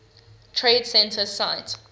trade center site